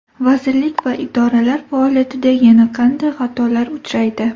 Vazirlik va idoralar faoliyatida yana qanday xatolar uchraydi?